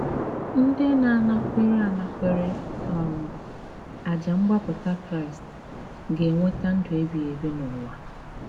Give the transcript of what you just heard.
Ndị na - anakwere - anakwere um àjà mgbapụta Kraịst ga - enweta ndụ ebighị ebi n’ụwa.